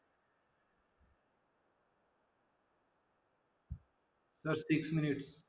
Sir, six minute